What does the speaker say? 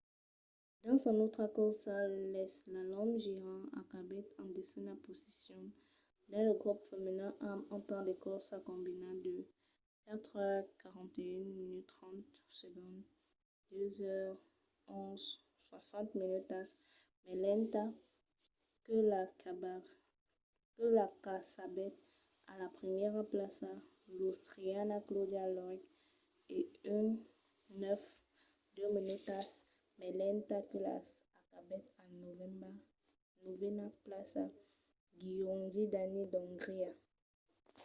dins son autra corsa l'eslalòm gigant acabèt en desena posicion dins lo grop femenin amb un temps de corsa combinat de 4:41.30 2:11.60 minutas mai lenta que la qu'acabèt a la primièra plaça l'austriana claudia loesch e 1:09.02 minutas mai lenta que la qu'acabèt en novena plaça gyöngyi dani d’ongria